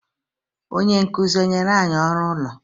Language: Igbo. Onye nkuzi enyere anyị ọrụ ụlọ?